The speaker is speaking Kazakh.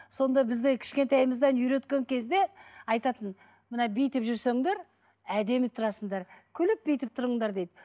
сонда бізде кішкентайымыздан үйреткен кезде айтатын мына бүйтіп жүрсеңдер әдемі тұрасыңдар күліп бүйтіп тұрыңдар дейді